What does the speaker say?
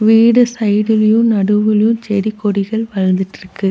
வீடு சைட்லயு நடுவுலியு செடி கொடிகள் பறந்துட்ருக்கு.